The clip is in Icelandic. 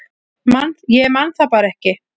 Ég man það bara ekki